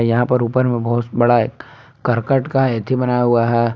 यहां पर ऊपर में बहुत बड़ा करकट का हैथी बना हुआ है।